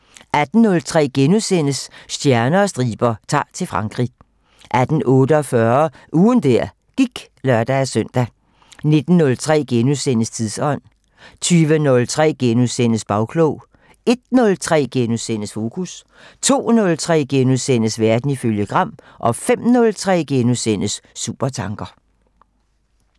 18:03: Stjerner og striber - Ta'r til Frankrig * 18:48: Ugen der gik (lør-søn) 19:03: Tidsånd * 20:03: Bagklog * 01:03: Fokus * 02:03: Verden ifølge Gram * 05:03: Supertanker *